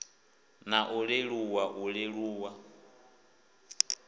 na u leluwa u leluwa